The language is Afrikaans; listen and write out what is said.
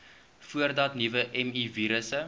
voordat nuwe mivirusse